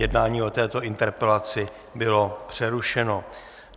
Jednání o této interpelaci bylo přerušeno.